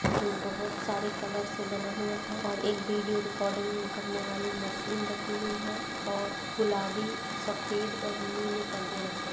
जो बहुत सारे कलर से बना हुआ है और एक वीडियो रिकार्डिंग करने वाली मशीन रखी हुई है और गुलाबी सफ़ेद और नीले परदे लगे--